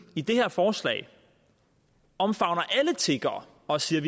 i det her forslag omfavner alle tiggere og siger